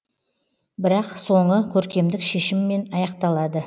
бірақ соңы көркемдік шешіммен аяқталады